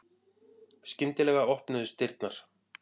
Skyndilega opnuðust dyrnar.